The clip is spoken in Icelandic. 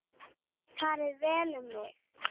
Farið vel um mig?